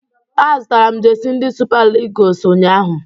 Azụtara m jesi ndị Sụpa Ịgụles ụnyahụ